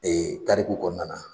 tariku kɔnɔna na